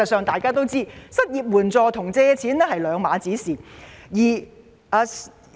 大家都知道，失業援助金與借錢是兩回事。